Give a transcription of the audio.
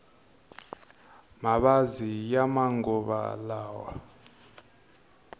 mavabyi ya manguva lawa